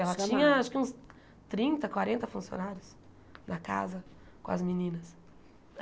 Ela tinha acho que uns trinta, quarenta funcionários na casa com as meninas.